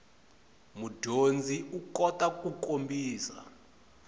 mudyondzi u kota ku kombisa